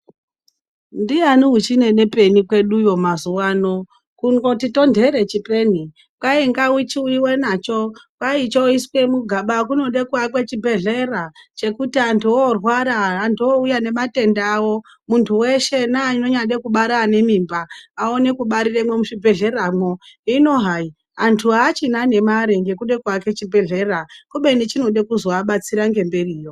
Ndiani uchine nepeni kwedu uyo mazuva ano kuungoti tondere chipeni jwainga uchiuyiwa nacho kwayi choiswe mugaba kunode kuwakwa chibhedhlera chekuti antu orwara antu owuya nematenda awo muntu weshe neanode kubara anemimba awone kubariremo muzvibhedhleramo hino hayi antu aachina nemari nekude kuwake chibhedhlera kubeni chinode kuzowabatsira nemberiyo.